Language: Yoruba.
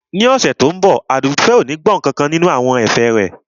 Ní ọ̀sẹ̀ tí ó ń bọ̀ Àdùfẹ̀ ò ní gbọ́ nkankan nínú àwọn ẹ̀fẹ̀ rẹ